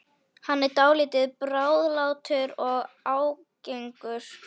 Hann er dálítið bráðlátur og ágengur.